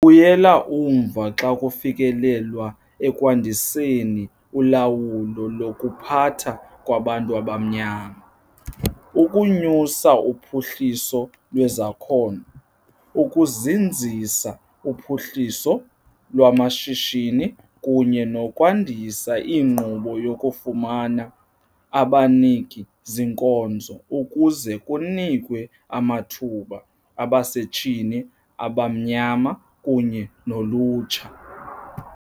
Sibuyele umva xa kufikelelwa ekwandiseni ulawulo lokuphatha kwabantu abamnyama, ukunyusa uphuhliso lwezakhono, ukuzinzisa uphuhliso lwamashishini kunye nokwandisa inkqubo yokufumana abaniki-zinkonzo ukuze kunikwe amathuba abasetyhini abamnyama kunye nolutsha.